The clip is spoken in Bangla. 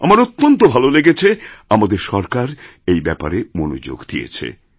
আমার অত্যন্ত ভালো লেগেছে আমাদের সরকার এই ব্যাপারে মনোযোগ দিয়েছে